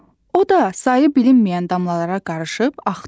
O da sayı bilinməyən damlalara qarışıb axdı.